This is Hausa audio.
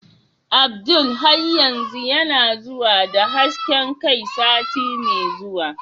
Abdul har yanzu yana zuwa da hasken kai sati mai zuwa?